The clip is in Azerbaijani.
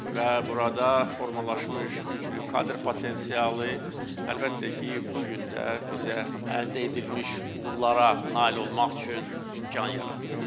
Və burada formalaşmış güclü kadr potensialı əlbəttə ki, bu gün də bizə əldə edilmiş uğurlara nail olmaq üçün imkan yaradır.